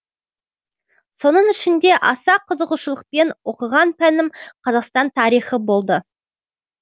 соның ішінде аса қызығушылықпен оқыған пәнім қазақстан тарихы болды